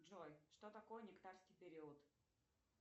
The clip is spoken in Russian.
джой что такое нектарский период